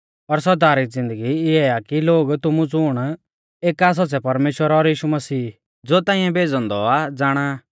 और सौदा री ज़िन्दगी इऐ आ की लोग तुमु ज़ुण एका सौच़्च़ै परमेश्‍वर और यीशु मसीह ज़ो ताइंऐ भेज़ौ औन्दौ आ ज़ाणा